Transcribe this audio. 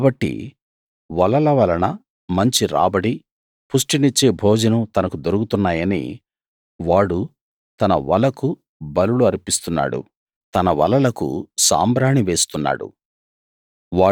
కాబట్టి వలల వలన మంచి రాబడి పుష్టినిచ్చే భోజనం తనకు దొరుకుతున్నాయని వాడు తన వలకు బలులు అర్పిస్తున్నాడు తన వలలకు సాంబ్రాణి వేస్తున్నాడు